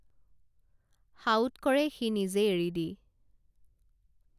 সাউৎকৰে সি নিজে এৰি দি